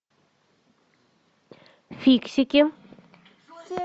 фиксики